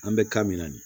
An bɛ kan min na nin ye